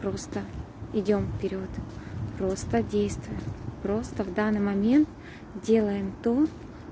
просто идём в перёд просто действия просто в данный момент делаем то